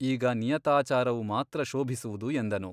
ಈಗ ನಿಯತಾಚಾರವು ಮಾತ್ರ ಶೋಭಿಸುವುದು ಎಂದನು.